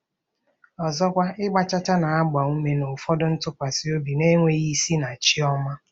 Ọzọkwa, ịgba chaa chaa na-agba ume n'ụfọdụ ntụkwasị obi na-enweghị isi na chi ọma.